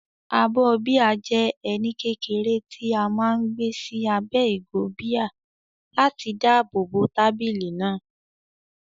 Abọ́ bíà jẹ́ ẹní kékeré tí a máa ń gbé sí abẹ́ ìgò bíà láti dáàbò bo tábìlì náà.